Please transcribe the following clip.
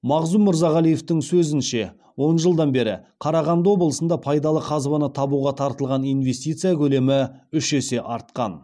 мағзұм мырзағалиевтің сөзінше он жылдан бері қарағанды облысында пайдалы қазбаны табуға тартылған инвестиция көлемі үш есе артқан